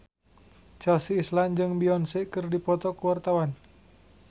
Chelsea Islan jeung Beyonce keur dipoto ku wartawan